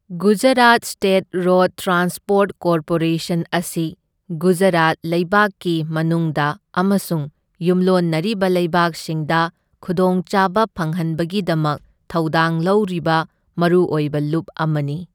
Gujarat state road transport corporation ꯑꯁꯤ ꯒꯨꯖꯔꯥꯠ ꯂꯩꯕꯥꯛꯀꯤ ꯃꯅꯨꯡꯗ ꯑꯃꯁꯨꯡ ꯌꯨꯝꯂꯣꯟꯅꯔꯤꯕ ꯂꯩꯕꯥꯛꯁꯤꯡꯗ ꯈꯨꯗꯣꯡꯆꯥꯕ ꯐꯪꯍꯟꯕꯒꯤꯗꯃꯛ ꯊꯧꯗꯥꯡ ꯂꯧꯔꯤꯕ ꯃꯔꯨꯑꯣꯏꯕ ꯂꯨꯞ ꯑꯃꯅꯤ꯫